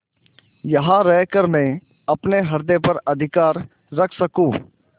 यहाँ रहकर मैं अपने हृदय पर अधिकार रख सकँू